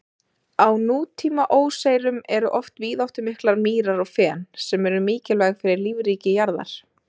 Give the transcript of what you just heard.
Á nútíma óseyrum eru oft víðáttumiklar mýrar og fen, sem eru mikilvæg fyrir lífríki jarðar.